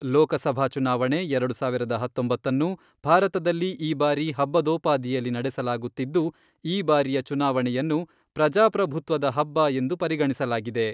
ಲೋಕಸಭಾ ಚುನಾವಣೆ ಎರಡು ಸಾವಿರದ ಹತ್ತೊಂಬತ್ತನ್ನು ಭಾರತದಲ್ಲಿ ಈ ಬಾರಿ ಹಬ್ಬದೋಪಾದಿಯಲ್ಲಿ ನಡೆಸಲಾಗುತ್ತಿದ್ದು, ಈ ಬಾರಿಯ ಚುನಾವಣೆಯನ್ನು ,ಪ್ರಜಾಪ್ರಭುತ್ವದ ಹಬ್ಬ, ಎಂದು ಪರಿಗಣಿಸಲಾಗಿದೆ.